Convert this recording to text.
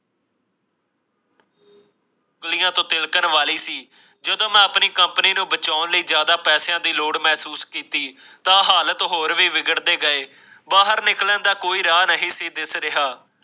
ਉੰਗਲਿਆਂ ਤੋਂ ਤਿਲਕਣ ਵਾਲੀ ਸੀ ਜਦੋਂ ਮੈਂ ਆਪਣੀ ਕੰਪਨੀ ਨੂੰ ਬਚਾਣ ਲਈ ਜ਼ਿਆਦਾ ਪੈਸਿਆਂ ਦੀ ਲੋੜ ਮਹਿਸੂਸ ਕੀਤੀ ਤਾਂ ਹਾਲਤ ਹੋਰ ਵੀ ਵਿਗੜ ਗਏ ਬਾਹਰ ਨਿਕਲਣ ਦਾ ਕੋਈ ਰਾਹ ਨਹੀਂ ਸੀ ਦਿਸ ਰਿਹਾ